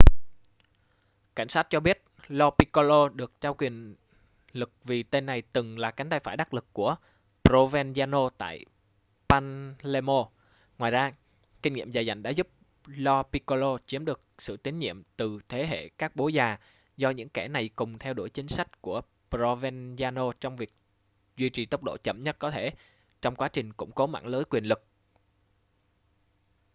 cảnh sát cho biết lo piccolo được trao quyền lực vì tên này từng là cánh tay phải đắc lực của provenzano tại palermo ngoài ra kinh nghiệm dày dặn đã giúp lo piccolo chiếm được sự tín nhiệm từ thế hệ các bố già do những kẻ này cùng theo đuổi chính sách của provenzano trong việc duy trì tốc độ chậm nhất có thể trong quá trình củng cố mạng lưới quyền lực